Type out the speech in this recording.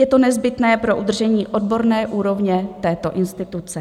Je to nezbytné pro udržení odborné úrovně této instituce.